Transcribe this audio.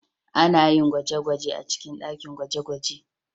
Ana yin gwaje-gwajen a cikin ɗakin gwaje-gwaje.